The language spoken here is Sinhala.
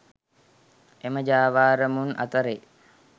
එම ජාවාරමුන් අතරේ